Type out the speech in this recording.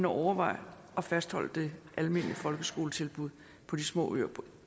overveje at fastholde det almene folkeskoletilbud på de små øer på